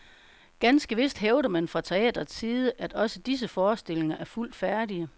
Ganske vist hævder man fra teatrets side, at også disse forestillinger er fuldt færdige.